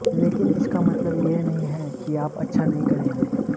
लेकिन इसका मतलब यह नहीं है कि आप अच्छा नहीं करेंगे